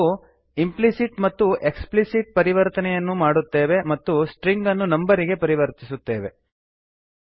ಹೀಗೆ ನಾವು ಇಂಪ್ಲಿಸಿಟ್ ಮತ್ತು ಎಕ್ಸ್ಪ್ಲಿಸಿಟ್ ಪರಿವರ್ತನೆಯನ್ನು ಮಾಡುತ್ತೇವೆ ಮತ್ತು ಸ್ಟ್ರಿಂಗನ್ನು ನಂಬರಿಗೆ ಪರಿವರ್ತಿಸುತ್ತೇವೆ